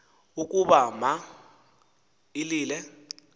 ukuba ma ilile